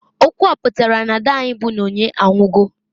Okwu a pụtara, na -ada anyi bu Nonye anwugo.